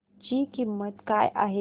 ची किंमत काय आहे